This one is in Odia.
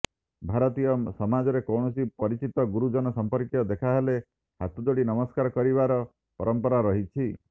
ଭାରତୀୟ ସମାଜରେ କୌଣସି ପରିଚିତ ଗୁରୁଜନ ସଂପର୍କୀୟ ଦେଖା ହେଲେ ହାତଯୋଡି ନମସ୍କାର କରିବାର ପରମ୍ପରା ରହିଛି